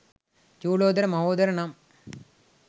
චූලෝදර මහෝදර නම්